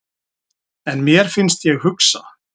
En mér finnst ég hugsa.